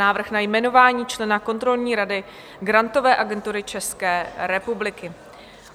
Návrh na jmenování člena kontrolní rady Grantové agentury České republiky